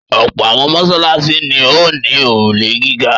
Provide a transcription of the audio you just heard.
Ọ̀pọ̀ àwọn mọ́ṣáláṣí ni ó ní òrùlé gíga.